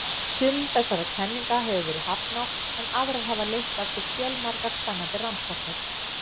Sumum þessara kenninga hefur verið hafnað en aðrar hafa leitt af sér fjölmargar spennandi rannsóknir.